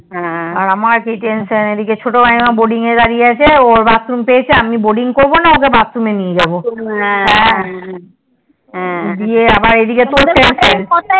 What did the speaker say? আর আমার কি tension এদিকে আমার ছোট বোন এইদিকে boarding এ দাঁড়িয়ে আছে ওর barthroom পেয়েছে আমি boarding করবো না ওকে barthroom এ নিয়ে যাবো হ্যাঁ হ্যাঁ